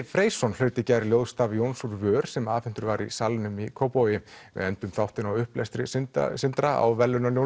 Freysson hlaut í gær Jóns úr vör sem afhentur var í Salnum í Kópavogi við endum þáttinn á upplestri Sindra Sindra á